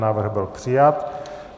Návrh byl přijat.